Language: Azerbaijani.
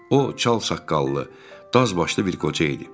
O, çalsaçqallı, daz başlı bir qoca idi.